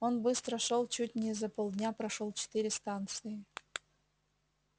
он быстро шёл чуть не за полдня прошёл четыре станции